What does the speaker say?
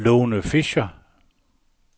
Lone Fischer